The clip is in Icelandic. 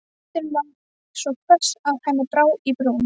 Röddin var svo hvöss að henni brá í brún.